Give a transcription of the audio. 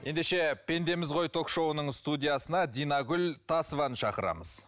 ендеше пендеміз ғой ток шоуының студиясына динагүл тасованы шақырамыз